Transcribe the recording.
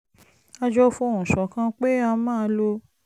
a jọ fohùn ṣọ̀kan pé a máa lo